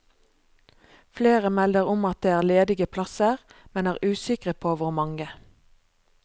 Flere melder om at det er ledige plasser, men er usikre på hvor mange.